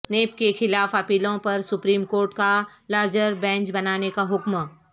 NAB کے خلاف اپیلوں پر سپریم کورٹ کا لارجر بینچ بنانے کا حکم